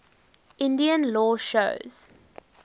indian law shows